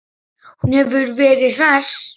Hún hefur verið hress?